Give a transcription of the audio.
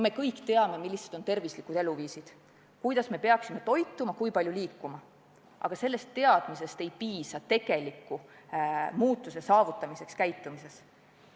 Me kõik teame, milline on tervislik eluviis, kuidas me peaksime toituma, kui palju liikuma, aga sellest teadmisest sageli ei piisa, et oma käitumist tegelikult muuta.